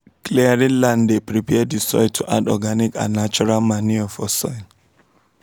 clearing land dey prepare the soil to add organic and natural manure for soil